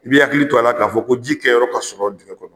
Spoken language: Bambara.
I bi hakili to a la k'a fɔ ko jikɛyɔrɔ ka sɔrɔ dingɛn kɔrɔ